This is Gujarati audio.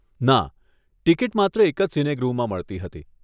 ના, ટિકિટ માત્ર એક જ સિનેગૃહમાં મળતી હતી.